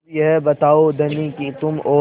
अब यह बताओ धनी कि तुम और